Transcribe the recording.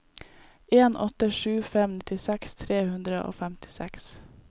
en åtte sju fem nittiseks tre hundre og femtiseks